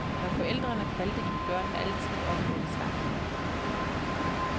Når forældrene kaldte, gik børnene altid op med det samme.